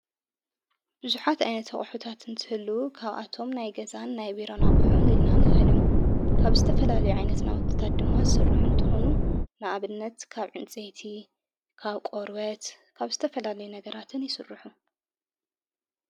ብዙኃት ኣይነት ቕሑታት እንትህሉ ካብ ኣቶም ናይ ገዛን ናይ ቢሮናቝሑን ኢልና ንፈልዮም ካብ ስተ ፈላልይ ኣይነት ናወትታት ድማት ሥርኅ እንተኾኑ ንኣብነት ካብ ዕንፀቲ ካብ ቆርወት ካብ ዝተ ፈላለይ ነገራትን ይሥርሑ።